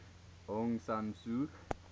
aung san suu